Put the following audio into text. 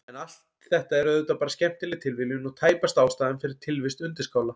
En allt þetta er auðvitað bara skemmtileg tilviljun og tæpast ástæðan fyrir tilvist undirskála.